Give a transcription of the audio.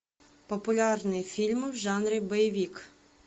популярные фильмы в жанре боевик